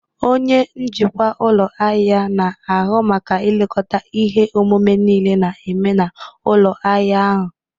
Onye njikwa ụlọ ahịa na-ahụ maka ilekọta ihe omume niile na-eme na ụlọ ahịa ahụ.